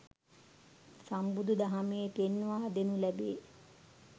සම්බුදු දහමේ පෙන්වා දෙනු ලැබේ.